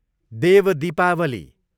Dev Dipawali